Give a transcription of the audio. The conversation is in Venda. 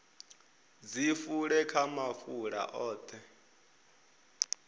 dzi fule kha mafulo oṱhe